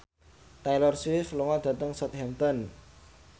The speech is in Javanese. Taylor Swift lunga dhateng Southampton